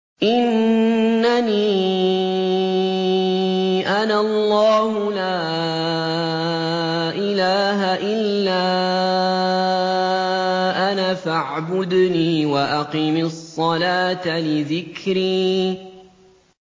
إِنَّنِي أَنَا اللَّهُ لَا إِلَٰهَ إِلَّا أَنَا فَاعْبُدْنِي وَأَقِمِ الصَّلَاةَ لِذِكْرِي